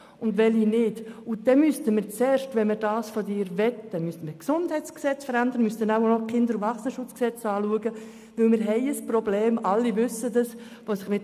Wenn wir das Anliegen von Grossrat Löffel-Wenger so aufnehmen wollten, müssten wir zuerst das GesG ändern und unter Umständen auch das Gesetz über den Kindes- und Erwachsenenschutz (KESG).